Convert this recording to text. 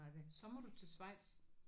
Så må du til Schweiz